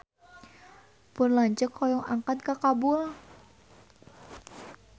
Pun lanceuk hoyong angkat ka Kabul